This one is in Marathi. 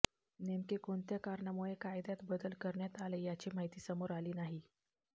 नेमके कोणत्या कारणामुळे कायद्यात बलद करण्यात आले याची माहिती समोर आली नाही